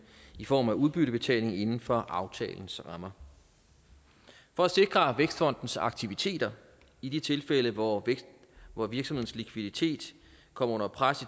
i form af udbyttebetaling inden for aftalens rammer for at sikre at vækstfondens aktiviteter i de tilfælde hvor hvor virksomhedens likviditet kommer under pres